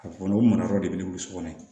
A kɔni o mara yɔrɔ de bɛ wuli so kɔnɔ